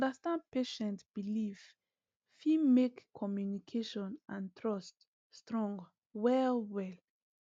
to understand patient belief fit make communication and trust strong well well